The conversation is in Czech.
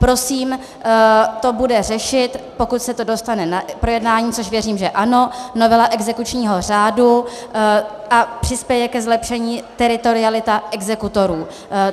Prosím, to bude řešit, pokud se to dostane na projednání, což věřím, že ano, novela exekučního řádu a přispěje ke zlepšení teritorialita exekutorů.